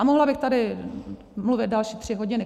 A mohla bych tady mluvit další tři hodiny.